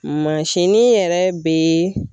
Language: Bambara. Mansinnin yɛrɛ bɛ